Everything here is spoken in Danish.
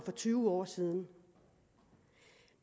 og tyve år siden